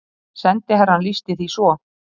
Sendiherrann lýsti því svo